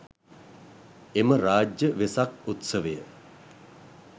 එම රාජ්‍ය වෙසක් උත්සවය